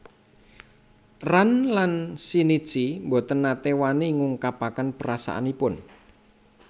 Ran lan Shinichi boten nate wani ngungkapaken perasaanipun